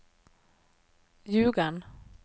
Ljugarn